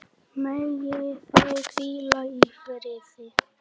Megi þau hvíla í friði.